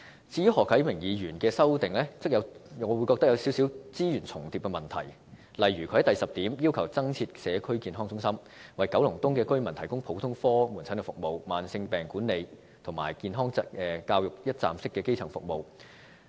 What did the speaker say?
至於何啟明議員的修正案，我則認為有少許資源重疊的問題，例如他在第十點要求增設社區健康中心，為九龍東居民提供普通科門診服務、慢性病管理及健康教育等一站式基層服務。